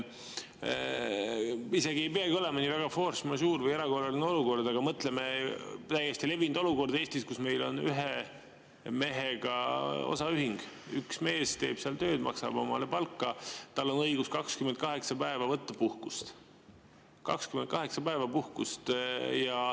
Isegi kui meil ei ole force majeure või erakorraline olukord, aga mõtleme, täiesti levinud olukord Eestis, kus meil on ühe mehega osaühing, üks mees teeb seal tööd, maksab omale palka, tal on õigus võtta 28 päeva puhkust.